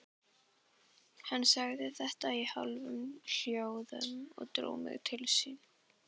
Hann sagði þetta í hálfum hljóðum og dró mig til sín.